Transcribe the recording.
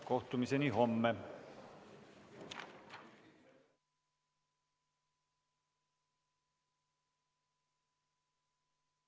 Kohtumiseni homme!